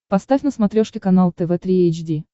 поставь на смотрешке канал тв три эйч ди